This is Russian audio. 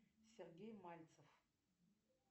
сергей мальцев